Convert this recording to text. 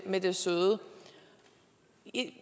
med det søde